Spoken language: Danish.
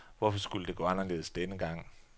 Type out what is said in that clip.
Hvorfor skulle det gå anderledes denne gang?